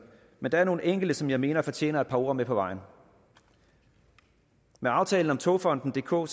men der er nogle enkelte som jeg mener fortjener et par ord med på vejen med aftalen om togfonden dk